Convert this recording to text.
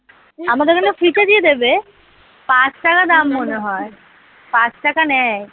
আমাদের এখানে free তে দিয়ে দেবে? পাঁচ টাকা দাম মনে হয় পাঁচ টাকা নেয়।